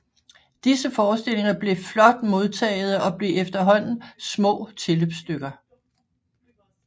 Disse forestillinger blev flot modtagede og blev efterhånden små tilløbsstykker